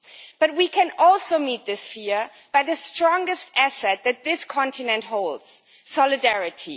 But we can also meet this fear with the strongest asset that this continent holds solidarity.